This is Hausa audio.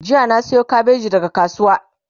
jiya na Sayo kabeji daga kasuwa